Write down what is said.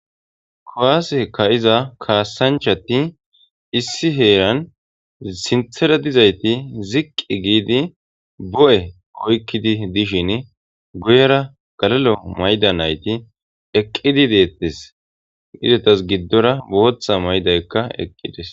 kuwase ka iza kaassanchati issi heeran sinthera dizayti ziqqi giidi bo'e oykkidi dishin guyera galalo mayda nayti eqqidi deettes. izetas giddora booththa maydaykka eqqides.